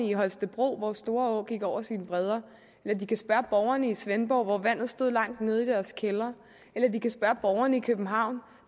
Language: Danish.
i holstebro hvor storå gik over sine bredder eller de kan spørge borgerne i svendborg hvor vandet stod langt nede i deres kældre eller de kan spørge borgerne i københavn